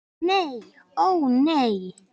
Nei ó nei.